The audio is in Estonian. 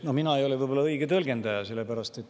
No mina ei ole võib-olla õige tõlgendaja.